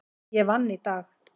Ég vann í dag.